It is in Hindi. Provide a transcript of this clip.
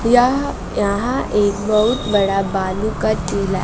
यह यहां एक बहुत बड़ा बालू का टीला है।